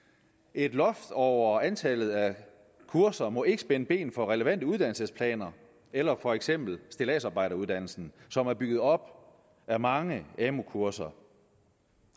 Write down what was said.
et loft over antallet af kurser må ikke spænde ben for relevante uddannelsesplaner eller for eksempel stilladsarbejderuddannelsen som er bygget op af mange amu kurser